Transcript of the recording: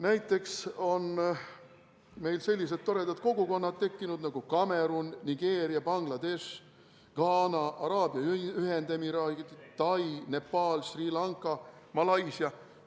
Näiteks on meil tekkinud sellised toredad kogukonnad nagu Kameruni, Nigeeria, Bangladeshi, Ghana, Araabia Ühendemiraatide, Tai, Nepali, Sri Lanka, Malaisia kogukond.